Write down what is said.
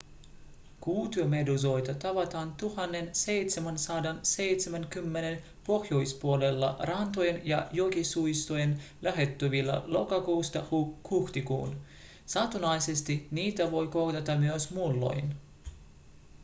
kuutiomeduusoita tavataan 1770:n pohjoispuolella rantojen ja jokisuistojen lähettyvillä lokakuusta huhtikuuhun satunnaisesti niitä voi kohdata myös muulloin